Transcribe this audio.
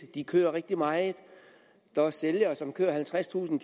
de kører rigtig meget der er sælgere som kører halvtredstusind